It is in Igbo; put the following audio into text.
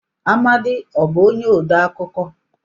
Amadi ọ bụ onye odee akụkọ?